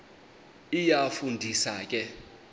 iyafu ndisa ke